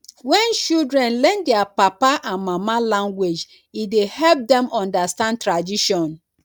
when children learn their papa and mama language e dey help dem understand tradition